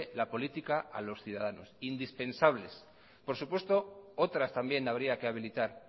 la política a los ciudadanos indispensables por supuesto otras también habría que habilitar